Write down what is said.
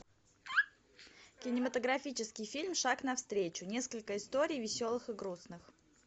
кинематографический фильм шаг навстречу несколько историй веселых и грустных